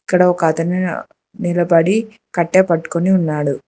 ఇక్కడ ఒక అతను నిలబడి కట్టే పట్టుకొని ఉన్నాడు.